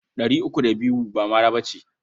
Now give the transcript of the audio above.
Ɗari uku da biyu ba mara ba ce.